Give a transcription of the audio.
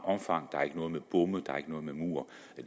omfang der er ikke noget med bomme der er ikke noget med mure